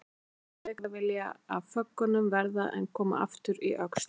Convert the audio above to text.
Sagðist hann frekar vilja af föggunum verða en koma aftur í Öxl.